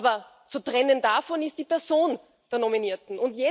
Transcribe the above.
Aber zu trennen davon ist die Person der Nominierten.